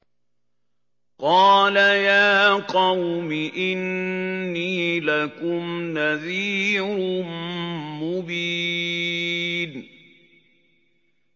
قَالَ يَا قَوْمِ إِنِّي لَكُمْ نَذِيرٌ مُّبِينٌ